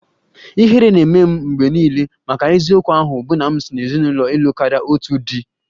Ihere na-eme m mgbe niile maka eziokwu ahụ bụ na m si n'ezinụlọ ịlụ karịa otu di